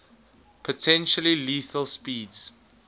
potentially lethal speeds